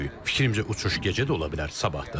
Fikrimcə uçuş gecə də ola bilər, sabah da.